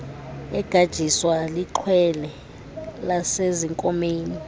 egajiswa lixwhwele lasezinkomeni